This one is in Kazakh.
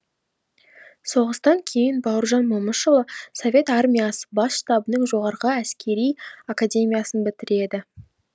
соғыстан кейін бауыржан момышұлы совет армиясы бас штабының жоғары әскери академиясын бітіреді